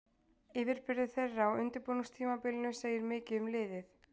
Yfirburðir þeirra á undirbúningstímabilinu segir mikið um liðið.